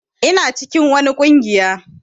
Ina cikin wani ƙungiya.